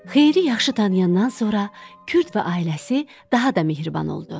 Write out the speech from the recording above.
Xeyiri yaxşı tanıyandan sonra Kürd və ailəsi daha da mehriban oldu.